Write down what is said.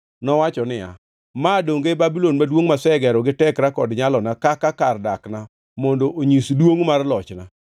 nowacho niya, “Ma donge e Babulon maduongʼ masegero gi tekra kod nyalona kaka kar dakna mondo onyis duongʼ mar lochna?”